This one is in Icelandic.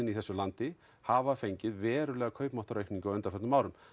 í þessu landi hafa fengið verulega kaupmáttaraukningu á undanförnum árum